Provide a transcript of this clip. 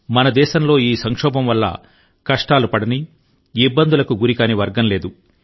మన దేశంలో ఈ సంక్షోభం వల్ల కష్టాలు పడని ఇబ్బందులకు గురికాని వర్గం లేదు